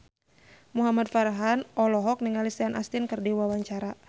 Muhamad Farhan olohok ningali Sean Astin keur diwawancara